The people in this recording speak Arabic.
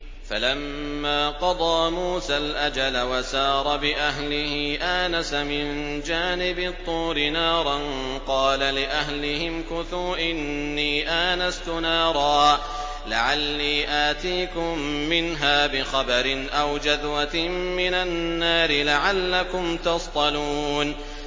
۞ فَلَمَّا قَضَىٰ مُوسَى الْأَجَلَ وَسَارَ بِأَهْلِهِ آنَسَ مِن جَانِبِ الطُّورِ نَارًا قَالَ لِأَهْلِهِ امْكُثُوا إِنِّي آنَسْتُ نَارًا لَّعَلِّي آتِيكُم مِّنْهَا بِخَبَرٍ أَوْ جَذْوَةٍ مِّنَ النَّارِ لَعَلَّكُمْ تَصْطَلُونَ